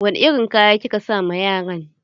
Wani irin kaya kika sa ma yaran?